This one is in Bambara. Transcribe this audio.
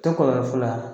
Tɛ kɔlɔlɔ foyi la